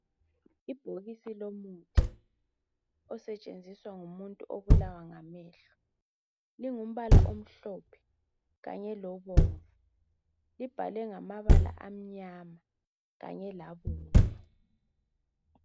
Ibhokisi lomuthi osetshenziswa ngumuntu obulawa ngamehlo, lingumbala omhlophe kanye lobomvu, libhalwe ngamabala amnyama kanye labomvu.